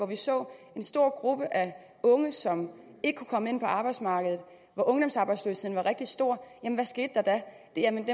vi så en stor gruppe af unge som ikke kunne komme ind på arbejdsmarkedet og ungdomsarbejdsløsheden var rigtig stor hvad skete der da jamen